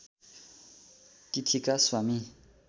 तिथिका स्वामी